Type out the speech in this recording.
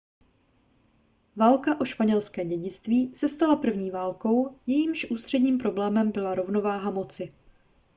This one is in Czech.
válka o španělské dědictví se stala první válkou jejímž ústředním problémem byla rovnováha moci